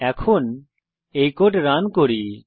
এখন এই code run করি